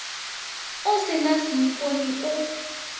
o se na seipone o